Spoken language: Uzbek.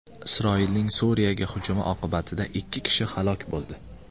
Isroilning Suriyaga hujumi oqibatida ikki kishi halok bo‘ldi.